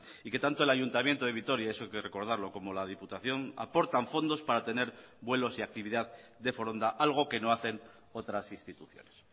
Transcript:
y que tanto el ayuntamiento de vitoria eso hay que recordarlo como la diputación aportan fondos para tener vuelos y actividad de foronda algo que no hacen otras instituciones